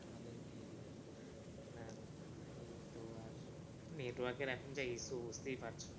না না না এইতো আর network এর এখন যা issue বুঝতেই পারছো।